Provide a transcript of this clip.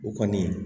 O kɔni